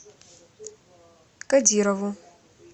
кодирову